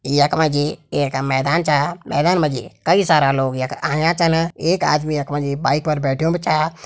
यख मा जी एक मैदान च मैदान मा जी कई सारा लोग यख आयाँ छन एक आदमी यख मा जी बाइक पर बैठ्युं भी छ।